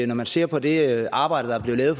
når man ser på det arbejde der er blevet lavet